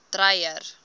dreyer